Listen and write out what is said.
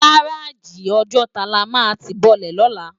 Gáráji Òjòtá lá má ti bòlè lólà